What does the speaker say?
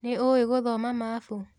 Nĩ ũĩ gũthoma mabu?